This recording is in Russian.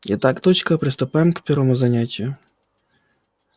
итак дочка приступаем к первому занятию